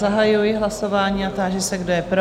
Zahajuji hlasování a táži se, kdo je pro?